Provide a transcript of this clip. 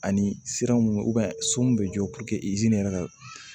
Ani sira mun so mun bɛ jɔ yɛrɛ ka